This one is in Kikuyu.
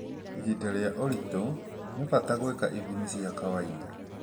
Ihinda rĩa ũritũ, nĩ bata gwĩka ithimi cia kawainda